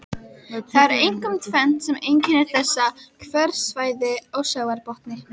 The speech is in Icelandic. Það er einkum tvennt sem einkennir þessi hverasvæði á sjávarbotni.